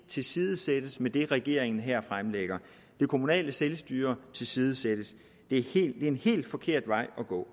tilsidesættes med det regeringen her fremlægger det kommunale selvstyre tilsidesættes det er en helt forkert vej at gå